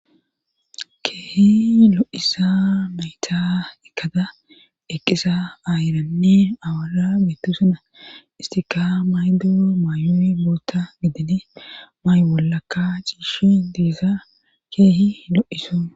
Keehi lo7iza nayta ekkada eqqiza aawaranne aayera bbetteeosona esttikka mayido mayoy bootta mayo gididi mayo bollakka cishi de7iza keehi lo7izo.